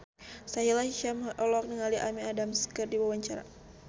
Sahila Hisyam olohok ningali Amy Adams keur diwawancara